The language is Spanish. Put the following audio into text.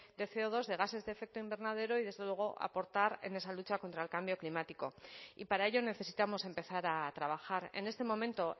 de ce o dos de gases de efecto invernadero y desde luego aportar en esa lucha contra el cambio climático y para ello necesitamos empezar a trabajar en este momento